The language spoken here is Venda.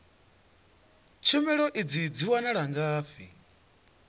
tshumelo idzi dzi wanala ngafhi